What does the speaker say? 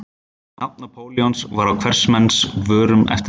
Nafn Napóleons var á hvers manns vörum eftir það.